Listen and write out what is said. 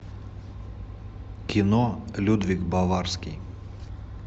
кино людвиг баварский